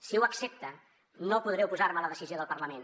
si ho accepta no podré oposar me a la decisió del parlament